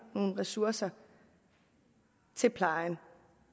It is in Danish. nogle ressourcer til plejen